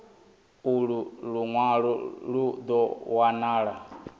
ulu lunwalo lu do wanala